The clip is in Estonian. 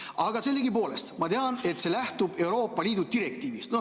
Aga sellegipoolest, ma tean, et see lähtub Euroopa Liidu direktiivist.